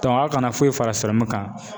aw kana foyi fara kan.